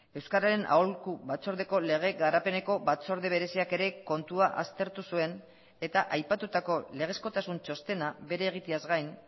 euskararen aholku batzordeko lege garapeneko batzorde bereziak ere kontua aztertu zuen eta aipatutako legezkotasun txostena bere egiteaz gain